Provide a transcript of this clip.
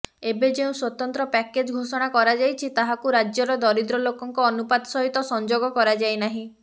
ଏବେ ଯେଉଁ ସ୍ୱତନ୍ତ୍ର ପ୍ୟାକେଜ ଘୋଷଣା କରାଯାଇଛି ତାହାକୁ ରାଜ୍ୟର ଦରିଦ୍ର ଲୋକଙ୍କ ଅନୁପାତ ସହିତ ସଂଯୋଗ କରାଯାଇନାହିଁ